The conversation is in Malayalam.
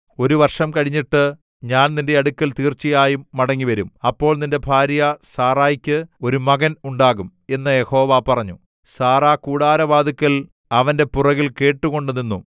ഒരു വർഷം കഴിഞ്ഞിട്ട് ഞാൻ നിന്റെ അടുക്കൽ തീർച്ചയായും മടങ്ങിവരും അപ്പോൾ നിന്റെ ഭാര്യ സാറായ്ക്ക് ഒരു മകൻ ഉണ്ടാകും എന്ന് യഹോവ പറഞ്ഞു സാറാ കൂടാരവാതിൽക്കൽ അവന്റെ പുറകിൽ കേട്ടുകൊണ്ടു നിന്നു